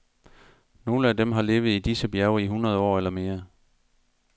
Nogle af dem har levet i disse bjerge i hundrede år eller mere.